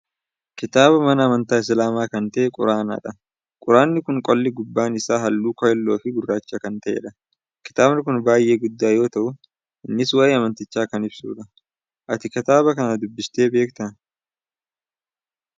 Kitaaba mana amantaa islaamaa kan ta'e quraanadha. Quraanni kun qolli gubbaa isaa haalluu keelloofi gurraacha kan ta'edha. Kitaabni kun baay'ee guddaa yoo ta'u innis waa'ee amantichaa kan ibsudha. Ati kitaaba kana dubbistee beektaa?